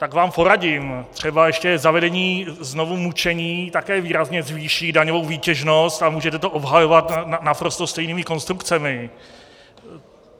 Tak vám poradím: třeba ještě zavedení znovu mučení také výrazně zvýší daňovou výtěžnost a můžete to obhajovat naprosto stejnými konstrukcemi.